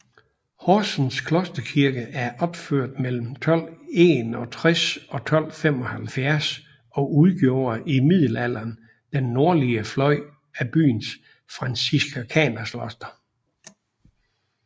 Horsens Klosterkirke er opført mellem 1261 og 1275 og udgjorde i middelalderen den nordlige fløj af byens franciskanerkloster